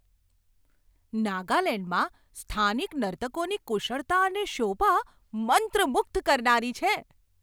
નાગાલેન્ડમાં સ્થાનિક નર્તકોની કુશળતા અને શોભા મંત્રમુગ્ધ કરનારી છે.